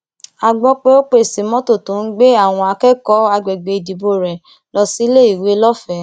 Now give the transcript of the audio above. a gbọ pé ó pèsè mọtò tó ń gbé àwọn akẹkọọ àgbègbè ìdìbò rẹ lọ síléèwé lọfẹẹ